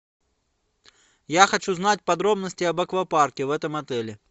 я хочу знать подробности об аквапарке в этом отеле